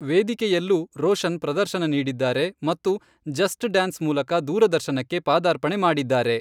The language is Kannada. ವೇದಿಕೆಯಲ್ಲೂ ರೋಷನ್ ಪ್ರದರ್ಶನ ನೀಡಿದ್ದಾರೆ ಮತ್ತು 'ಜಸ್ಟ್ ಡ್ಯಾನ್ಸ್' ಮೂಲಕ ದೂರದರ್ಶನಕ್ಕೆ ಪಾದಾರ್ಪಣೆ ಮಾಡಿದ್ದಾರೆ.